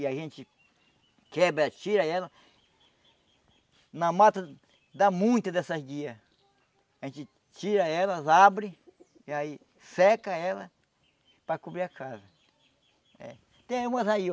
E a gente quebra, tira ela Na mata dá muitas dessas guias A gente tira elas, abre e aí seca ela para cobrir a casa Tem umas aí ó